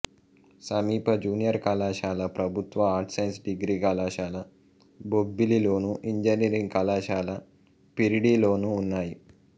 సమీప జూనియర్ కళాశాల ప్రభుత్వ ఆర్ట్స్ సైన్స్ డిగ్రీ కళాశాల బొబ్బిలిలోను ఇంజనీరింగ్ కళాశాల పిరిడిలోనూ ఉన్నాయి